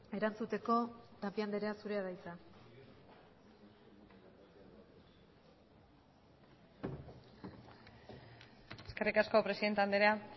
erantzuteko tapia andrea zurea da hitza eskerrik asko presidente andrea